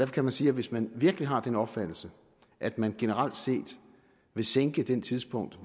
kan vi sige at hvis man virkelig har den opfattelse at man generelt set vil sænke det tidspunkt